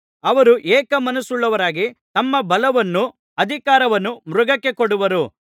ಅವರು ಏಕ ಮನಸ್ಸುಳ್ಳವರಾಗಿ ತಮ್ಮ ಬಲವನ್ನೂ ಅಧಿಕಾರವನ್ನೂ ಮೃಗಕ್ಕೆ ಕೊಡುವರು